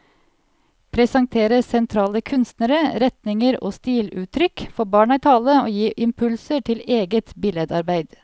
Presentere sentrale kunstnere, retninger og stiluttrykk, få barna i tale og gi impulser til eget billedarbeid.